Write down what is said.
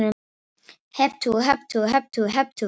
Hep tú, hep tú, hep tú, hep tú.